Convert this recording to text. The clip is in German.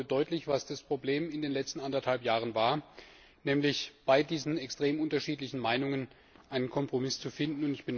Ich glaube, es wurde deutlich, was das Problem in den letzten anderthalb Jahren war nämlich bei diesen extrem unterschiedlichen Meinungen einen Kompromiss zu finden.